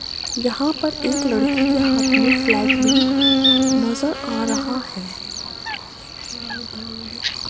यहां पर एक लड़की के हाथ में फ्लैग भी नजर आ रहा है।